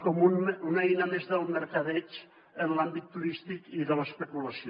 com una eina més del mercadeig en l’àmbit turístic i de l’especulació